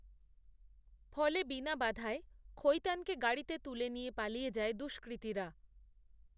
ফলে বিনা বাধায় খৈতানকে গাড়িতে তুলে নিয়েপালিয়ে যায় দুষ্কৃতীরা